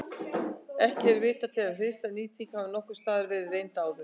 Ekki er vitað til að hliðstæð nýting hafi nokkurs staðar verið reynd áður.